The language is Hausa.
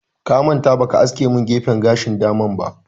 Ka manta ba ka aske min gefen gashin dama ba